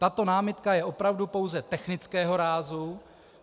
Tato námitka je opravdu pouze technického rázu.